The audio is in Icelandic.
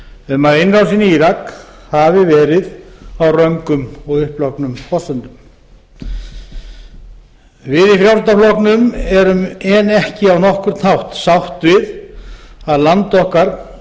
um að innrásin í írak hafi verið á röngum og upplognum forsendum við í frjálslynda flokknum erum ekki á nokkurn hátt sátt við að land okkar skuli hafa